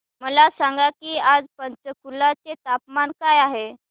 मला सांगा की आज पंचकुला चे तापमान काय आहे